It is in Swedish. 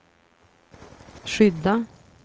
skydda